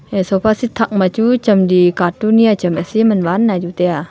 hai sofa seat thakma chu chamli catoon ya cham asi manvan naiju tiya.